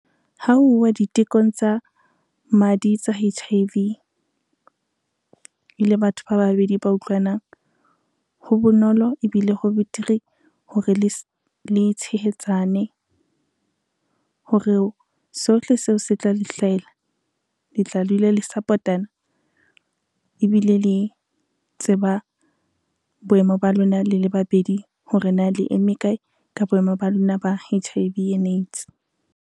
Ha uwa ditekong tsa madi tsa H_I_V, e le batho ba babedi ba utlwanang, ho bonolo ebile ho betere hore le tshehetsane. Hore sohle seo se tla le hlahela le tla dula le support-ana ebile le tseba boemo ba lona le le babedi hore na le eme kae ka boemo ba lona ba H_I_V and AIDS.